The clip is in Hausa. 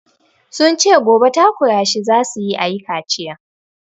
Sun ce gobe takura shi za su yi a yi kaciyan.